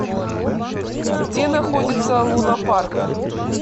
где находится луна парк